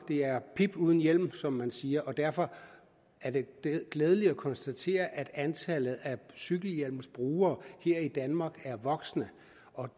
det er pip uden hjelm som man siger derfor er det glædeligt at konstatere at antallet af cykelhjelmsbrugere her i danmark er voksende